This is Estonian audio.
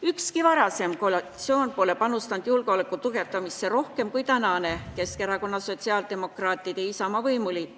Ükski varasem koalitsioon pole panustanud julgeoleku tugevdamisse rohkem kui praegune Keskerakonna, sotsiaaldemokraatide ja Isamaa võimuliit.